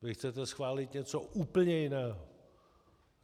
Vy chcete schválit něco úplně jiného.